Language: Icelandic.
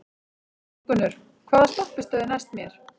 Þórgunnur, hvaða stoppistöð er næst mér?